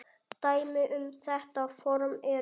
Dæmi um þetta form eru